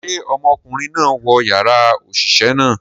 Ṣe ọmọkunrin naa wọ yara oṣiṣẹ naa?